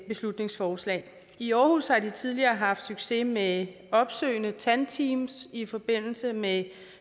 beslutningsforslag i aarhus har de tidligere haft succes med opsøgende tandteams i forbindelse med